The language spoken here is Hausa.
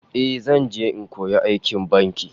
Eh, zan je in koyo aikin banki